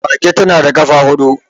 Mage ta na da kafa hudu.